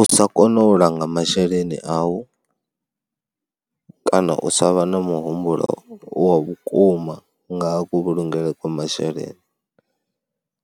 U sa kona u langa masheleni au kana u sa vha na muhumbulo wa vhukuma ngaha kuvhulungele kwa masheleni